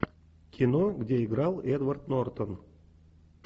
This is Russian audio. кино где играл эдвард нортон